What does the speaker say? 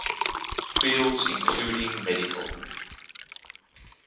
fields including medical